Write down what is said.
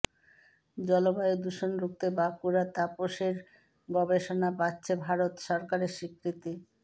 জলবায়ু দূষণ রুখতে বাঁকুড়ার তাপসের গবেষণা পাচ্ছে ভারত সরকারের স্বীকৃতি